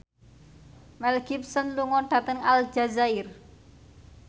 Mel Gibson lunga dhateng Aljazair